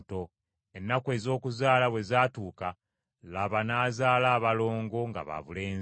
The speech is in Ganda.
Ennaku ez’okuzaala bwe zaatuuka, laba, n’azaala abalongo nga babulenzi.